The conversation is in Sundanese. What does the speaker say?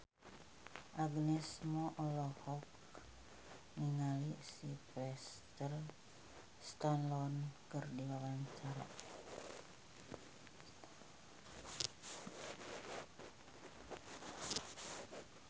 Agnes Mo olohok ningali Sylvester Stallone keur diwawancara